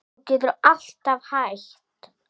Þú getur alltaf hætt